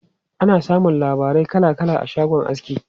Ana samun labarai kala kala a shagon aski.